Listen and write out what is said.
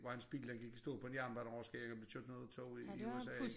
Hvor hans bil den gik i stå på en jernbaneoverskæring og blev kørt ned af et tog i i USA